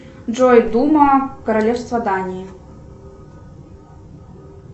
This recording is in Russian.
джой дума королевство дании